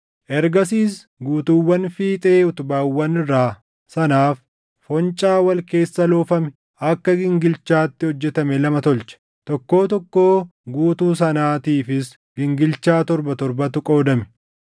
Ergasiis guutuuwwan fiixee utubaawwan irraa sanaaf foncaa wal keessa loofame akka gingilchaatti hojjetame lama tolche; tokkoo tokkoo guutuu sanaatiifis gingilchaa torba torbatu qoodame.